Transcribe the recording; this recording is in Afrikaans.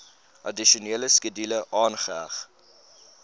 addisionele skedule aangeheg